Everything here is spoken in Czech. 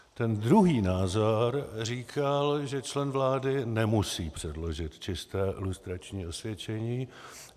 Ten druhý názor říkal, že člen vlády nemusí předložit čisté lustrační osvědčení.